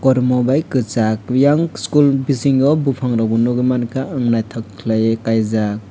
kormo bai kosag oyang school bisingo bopang rok bo nogoimangkha ang naitok kelai oe kaijak.